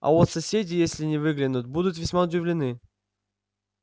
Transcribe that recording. а вот соседи если выглянут будут весьма удивлены